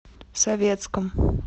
советском